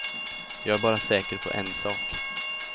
Jag är bara säker på en sak.